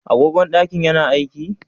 Agogon ɗakin ya na aiki?